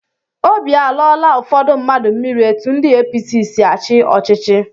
Óbị alọọla ụfọdụ mmadụ mmiri etụ ndị APC sị achị ọchịchị.